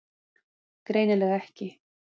Greinilega ekki.